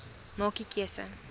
maak u keuse